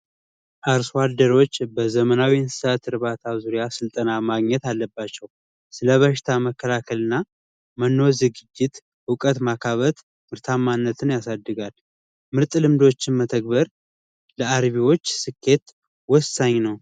አርሶ አደሮች በዘመኑ እንስሳት እርባታ ዙሪያ ስልጠና ማግኘት አለባቸው። ስለ በሽታ መከላከልና መኖ ዝግጅት እውቀት ማካበት ምርታማነትን ያሳድጋል። ምርጥ ልምዶችና ተግባራት ለአርቢዎች ስኬት ነው።